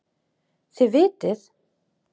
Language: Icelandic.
Þið vitið.